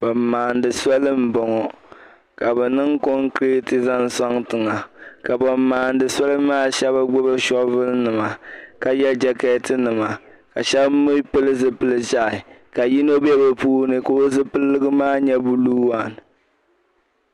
ban maani soli m boŋɔ ka bi niŋ concreat zan soŋ tiŋa ka ba maani soli maa shebi gbubi shovel nima ka ye jakeetinima ka shab mi pili zupili ʒehi ka yino be bi puuni ka o zupiligu maa nyɛ blue one.